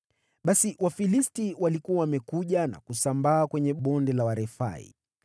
Basi Wafilisti walikuwa wamekuja na kusambaa kwenye Bonde la Warefai,